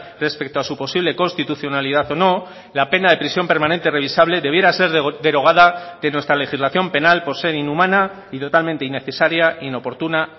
respecto a su posible constitucionalidad o no la pena de prisión permanente revisable debiera ser derogada de nuestra legislación penal por ser inhumana y totalmente innecesaria inoportuna